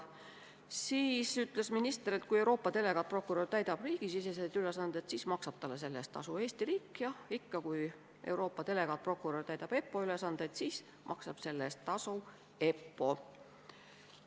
Selle kohta ütles minister, et kui Euroopa delegaatprokurör täidab riigisiseseid ülesandeid, siis maksab talle selle eest tasu Eesti riik, ja kui Euroopa delegaatprokurör täidab EPPO ülesandeid, siis maksab selle eest tasu EPPO.